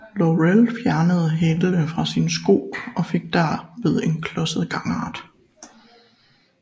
Laurel fjernede hælene fra sine sko og fik derved en klodset gangart